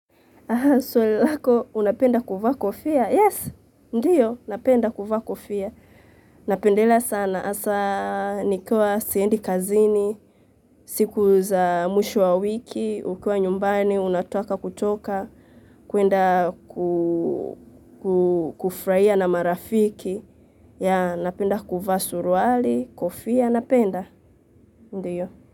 Swali lako, unapenda kuvaa kofia? Yes, ndiyo, napenda kuvaa kofia. Napendelea sana, asa, nikiwa, siendi kazini, siku za mwisho wa wiki, ukiwa nyumbani, unataka kutoka, kuenda kufurahia na marafiki, yeah, napenda kuvaa suruali, kofia, napenda, ndiyo.